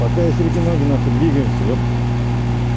пока есть руки ноги нахуй двигаемся епте